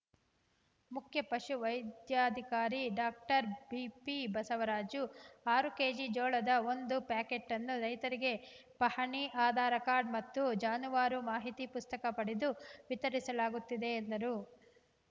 ಮುಖ್ಯ ಪಶು ವೈದ್ಯಾಧಿಕಾರಿ ಡಾಕ್ಟರ್ ಬಿಪಿಬಸವರಾಜು ಆರು ಕೆಜಿ ಜೋಳದ ಒಂದು ಪ್ಯಾಕೇಟನ್ನು ರೈತರಿಗೆ ಪಹಣಿ ಆಧಾರ ಕಾರ್ಡ್‌ ಮತ್ತು ಜಾನುವಾರು ಮಾಹಿತಿ ಪುಸ್ತಕ ಪಡೆದು ವಿತರಿಸಲಾಗುತ್ತಿದೆ ಎಂದರು